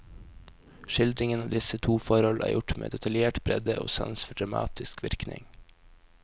Skildringen av disse to forhold er gjort med detaljert bredde og sans for dramatisk virkning.